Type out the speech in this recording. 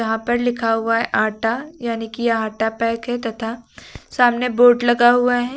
यहां पर लिखा हुआ है आटा यानी कि यह आटा पैक है तथा सामने बोर्ड लगा हुआ है।